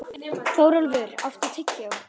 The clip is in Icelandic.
Þórólfur, áttu tyggjó?